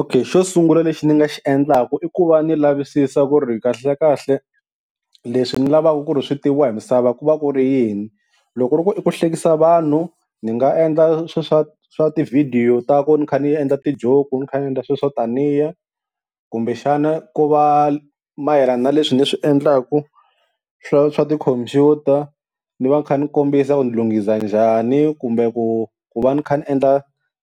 Okay xo sungula lexi ni nga xi endlaka i ku va ni lavisisa ku ri kahlekahle leswi ni lavaka ku ri swi tiviwa hi misava ku va ku ri yini, loko ku ri i ku hlekisa vanhu ni nga endla swa swa swa tivhidiyo ta ku ni kha ni endla ti-joke ni kha ni endla sweswo taniya, kumbexana ku va mayelana na leswi ni swi endlaku swa swa tikhompyuta ni va ni kha ni kombisa ku ni lunghisa njhani, kumbe ku ku va ni kha ni endla